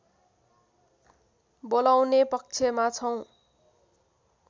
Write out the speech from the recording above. बोलाउने पक्षमा छौँ